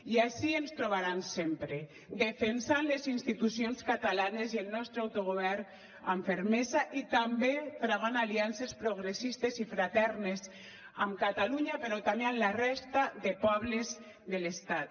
i ací ens trobaran sempre defensant les institucions catalanes i el nostre autogovern amb fermesa i també travant aliances progressistes i fraternes amb catalunya però també amb la resta de pobles de l’estat